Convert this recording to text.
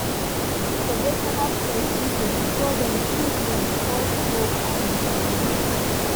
dem keep motivational quotes visible so dem fit reinforce hope and determination.